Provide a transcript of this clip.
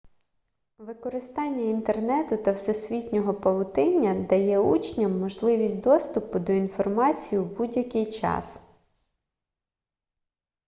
використання інтернету та всесвітнього павутиння дає учням можливість доступу до інформації в будь-який час